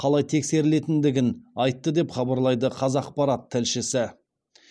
қалай тексерілетіндігін айтты деп хабарлайды қазақпарат тілшісі